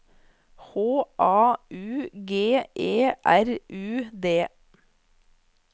H A U G E R U D